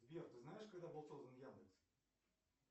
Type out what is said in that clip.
сбер ты знаешь когда был создан яндекс